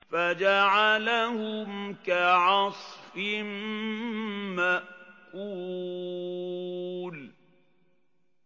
فَجَعَلَهُمْ كَعَصْفٍ مَّأْكُولٍ